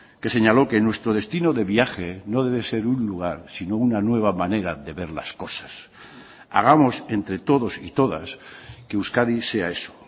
que señaló que nuestro destino de viaje no debe ser un lugar sino una nueva manera de ver las cosas hagamos entre todos y todas que euskadi sea eso